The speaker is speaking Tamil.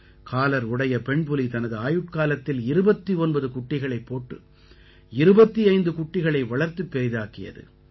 காலர் உடைய பெண்புலி தனது ஆயுட்காலத்தில் 29 குட்டிகளைப் போட்டு 25 குட்டிகளை வளர்த்துப் பெரிதாக்கியது